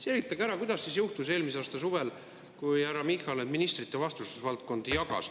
Selgitage ära, kuidas see juhtus eelmise aasta suvel, kui härra Michal ministrite vastutusvaldkondi jagas.